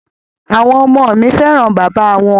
À̀wọn ọmọ mi fẹ́ràn bàbá wọn.